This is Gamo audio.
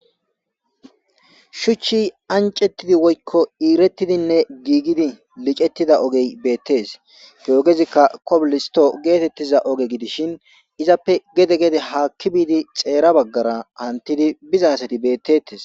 shuchchi ancettidi woykko iirettidinne giigidi licettida ogey beettes he ogezikka kobolisto geetettiza oge gidishin izappe gede gede haakki biidi xeera baggara hantidi biza asati bettettes